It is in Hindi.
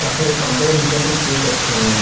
और फिर एक काउंटर है जिनके अंदर केक रखे हुए हैं।